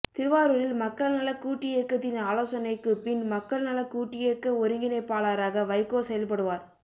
திருவாரூரில் மக்கள்நலக் கூட்டியக்கத்தின் ஆலோசனைக்கு பின் மக்கள் நலக் கூட்டியக்க ஒருங்கிணைப்பாளராக வைகோ செயல்படுவார்